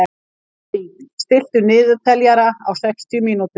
Doddý, stilltu niðurteljara á sextíu mínútur.